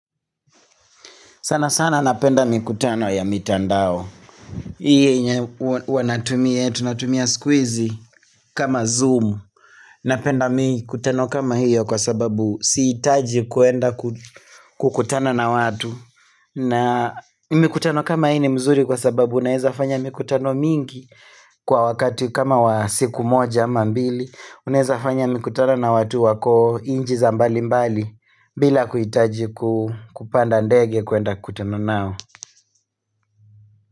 Sana sana napenda mikutano ya mitandao. Hii yenye huwa natumia, tunatumia siku hizi kama zoom. Napenda mikutano kama hiyo kwa sababu sihitaji kwenda kukutana na watu. Na mikutano kama hii mzuri kwa sababu unaeza fanya mikutano mingi kwa wakati kama wa siku moja ama mbili. Unaeza fanya mikutano na watu wako inchi za mbali mbali bila kuhitaji kupanda ndege kwenda kutana nao.